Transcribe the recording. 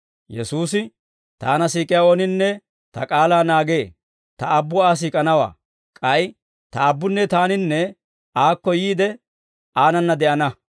Yesuusi, «Taana siik'iyaa ooninne Ta k'aalaa naagee; Ta Aabbu Aa siik'anawaa; k'ay Ta Aabbunne Taaninne aakko yiide, aanana de'ana.